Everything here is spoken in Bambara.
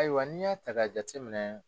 Ayiwa n'i y'a ta ka jateminɛ.